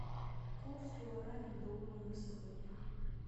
курс гуарани к доллару на сегодня